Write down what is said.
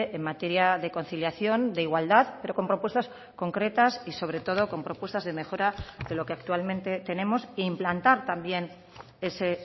en materia de conciliación de igualdad pero con propuestas concretas y sobre todo con propuestas de mejora de lo que actualmente tenemos e implantar también ese